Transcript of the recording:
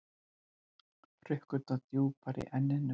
Hrukkurnar djúpar í enninu.